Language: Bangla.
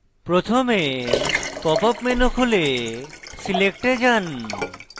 প্রথমে pop up menu খুলে select এ যান